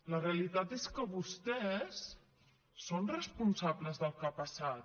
la realitat és que vostès són responsables del que ha passat